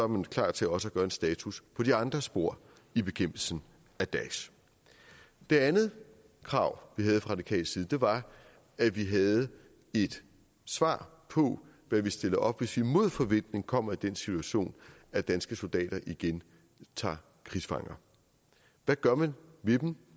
man klar til også at gøre en status på de andre spor i bekæmpelsen af daesh det andet krav vi havde fra radikal side var at vi havde et svar på hvad vi stiller op hvis vi mod forventning kommer i den situation at danske soldater igen tager krigsfanger hvad gør man ved dem